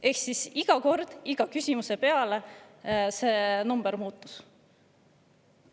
Ehk siis iga kord, iga küsimise peale see number muutus.